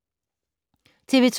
TV 2